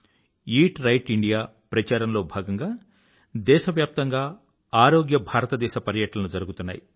eat right India ప్రచారంలో భాగంగా దేశవ్యాప్తంగా ఆరోగ్య భారతదేశ పర్యటనలు జరుగుతున్నాయి